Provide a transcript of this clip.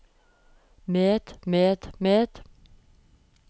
med med med